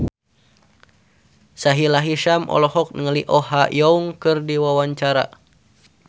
Sahila Hisyam olohok ningali Oh Ha Young keur diwawancara